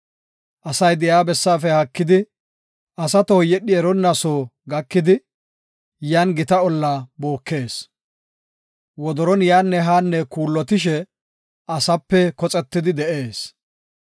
Asay de7iya bessaafe haakidi, asa tohoy yedhi eronna soo gakidi, yan gita olla bookees. Wodoron yaanne haanne kuullotishe, asaape koxetidi de7ees.